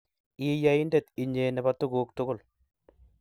I Ya-indet, 1nye, ne bo tuguk tugul.